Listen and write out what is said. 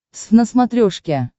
твз на смотрешке